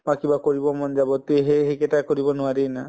বা কিবা কৰিব মন যাব তে সেই সেইকেইটা কৰিব নোৱাৰি না